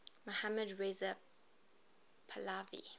mohammad reza pahlavi